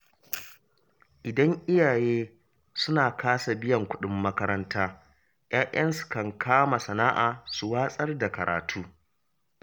Idan iyaye suna kasa biyan kuɗin makaranta, 'ya'yansu kan kama sana’a su watsar da karatu.